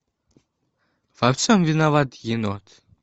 во всем виноват енот